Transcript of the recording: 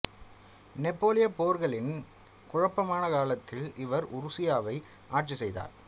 நெப்போலியப் போர்களின் குழப்பமான காலத்தில் இவர் உருசியாவை ஆட்சி செய்தார்